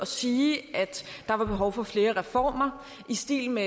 sige at der er behov for flere reformer i stil med